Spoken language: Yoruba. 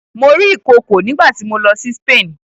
Mo rí ìkookò nígbà tí mo lọ sí Spain.